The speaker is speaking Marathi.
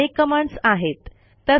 अशा अनेक कमांडस आहेत